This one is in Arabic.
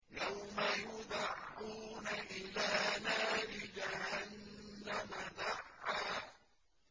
يَوْمَ يُدَعُّونَ إِلَىٰ نَارِ جَهَنَّمَ دَعًّا